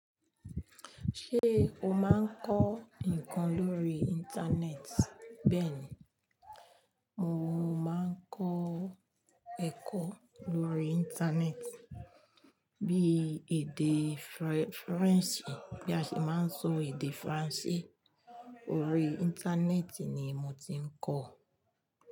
Ṣé o máa ń kọ́ ǹkan lórí Íńtánẹ́ẹ̀tì? Béèni, mo máa ń kọ́ ẹ̀kọ́ lórí íńtánẹ́ẹ̀tì bí i èdè Faransé bí a ṣe máa ń sọ èdè Faransé. Orí íńtánẹ́ẹ̀tì ni mo ti ń kọ́.